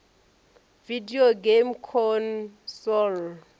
video game console